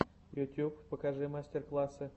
ютьюб покажи мастер классы